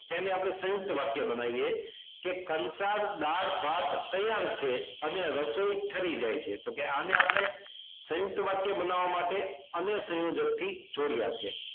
તેને આપણે સંયુકત વાક્ય બનાવીએ કે કંસાર દાળ ભાત તૈયાર છે અને રસોઈ ઠરી જાઇ છે આને આપણે સયુંકત વાક્ય બનાવવા માટે અને સંયોજક થી જોડ્યા છે